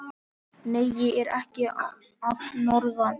Nei, ég er ekki að norðan.